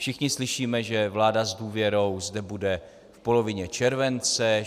Všichni slyšíme, že vláda s důvěrou zde bude v polovině července.